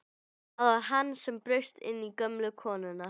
Það var hann sem braust inn til gömlu konunnar!